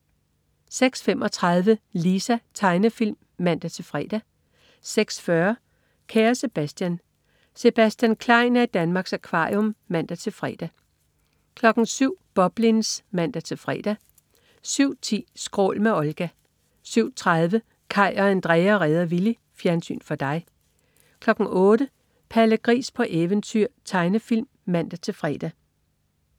06.35 Lisa. Tegnefilm (man-fre) 06.40 Kære Sebastian. Sebastian Klein er i Danmarks Akvarium (man-fre) 07.00 Boblins (man-fre) 07.10 Skrål med Olga 07.30 Kaj og Andrea redder Willy. Fjernsyn for dig 08.00 Palle Gris på eventyr. Tegnefilm (man-fre)